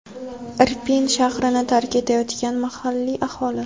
Irpin shahrini tark etayotgan mahalliy aholi.